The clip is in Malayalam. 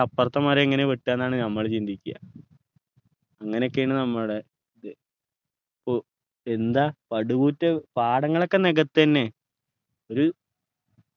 ൻ്റെ അപ്പറത്തെ മരം എങ്ങനെ വെട്ടുക എന്നാണ് നമ്മള് ചിന്തിക്ക അങ്ങനെക്കെയാണ് നമ്മുടെ ഇത് പോ എന്താ പടുകൂറ്റൻ പാടങ്ങളൊക്കെ നികത്തന്നെ ഒരു